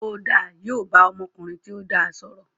Ó dáa, yóò bá ọmọkùnrin tó dáa sọ̀rọ̀